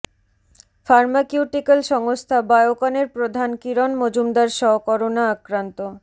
pharmaceutical সংস্থা বায়োকনের প্রধান কিরণ মজুমদার শ করোনা আক্রান্ত